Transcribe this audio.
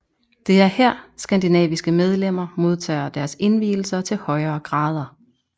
Det er her skandinaviske medlemmer modtager deres indvielser til højere grader